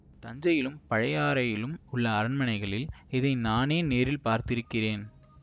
தஞ்சையிலும் பழையாறையிலும் உள்ள அரண்மனைகளில் இதை நானே நேரில் பார்த்திருக்கிறேன்